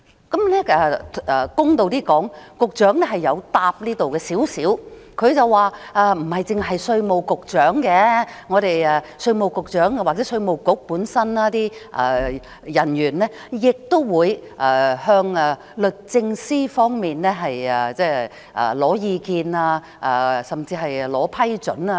公道一點說，局長曾就這方面作出少許回應，他說不單稅務局局長，稅務局某些人員亦會徵求律政司的意見甚至批准。